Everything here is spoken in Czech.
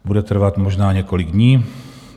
Bude trvat možná několik dní.